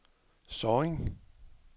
Sorring